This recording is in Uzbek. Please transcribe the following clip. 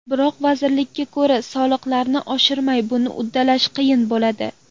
Biroq, vazirlikka ko‘ra, soliqlarni oshirmay buni uddalash qiyin bo‘ladi.